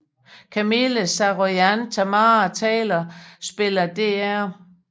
Camille Saroyan Tamara Taylor spiller Dr